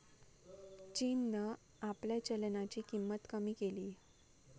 चीननं आपल्या चलनाची किंमत कमी केलीय.